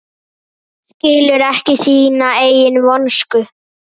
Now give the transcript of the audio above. Skilur ekki sína eigin vonsku.